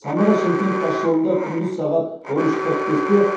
самара шымкент тасжолында күндіз сағат он үш қырық бесте